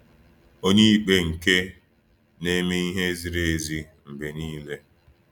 Onyeikpe nke na-eme ihe ziri ezi mgbe niile.